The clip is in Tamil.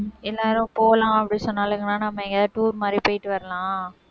எல்லாரும் போலாம் அப்படி சொன்னாலுங்கன்னா, நம்ம எங்கயாவது tour மாதிரி போயிட்டு வரலாம்.